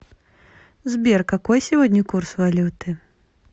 сбер какой сегодня курс валюты